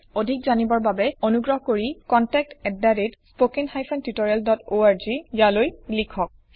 অধিক জানিবৰ বাবে অনুগ্ৰহ কৰি স্পকেন হাইফেন টিঊটৰিয়েল ডট অৰ্গলৈ লিখক